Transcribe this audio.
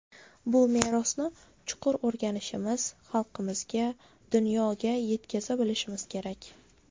Bu merosni chuqur o‘rganishimiz, xalqimizga, dunyoga yetkaza bilishimiz kerak.